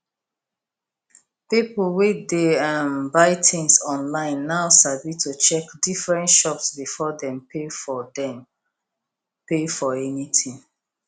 people wey dey um buy things online now sabi to check different shops before dem pay for dem pay for anything